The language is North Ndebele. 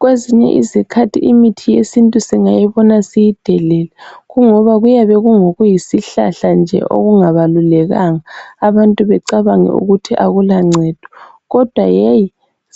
Kwezinye izikhathi imuthi yesintu singayibona siyidelele ngoba kuyabe kungokuyisihlahla nje okungabalulekanga bantu becabange ukuthi akulangcedo kodwa